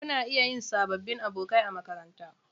Kuna iya yin sabbin abokai a makaranta.